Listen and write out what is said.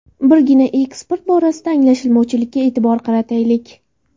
Birgina eksport borasidagi anglashilmovchilikka e’tibor qarataylik.